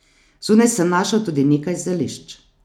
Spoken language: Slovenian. Zunaj sem našel tudi nekaj zelišč.